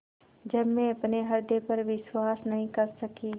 जब मैं अपने हृदय पर विश्वास नहीं कर सकी